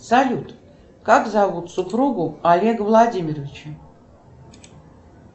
салют как зовут супругу олега владимировича